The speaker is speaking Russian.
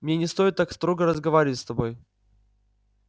мне не стоит так строго разговаривать с тобой